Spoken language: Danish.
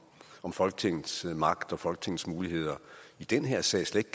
om folketingets magt og folketingets muligheder i den her sag slet